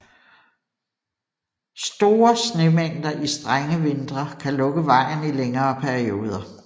Store snemængder i strenge vintre kan lukke vejen i længere perioder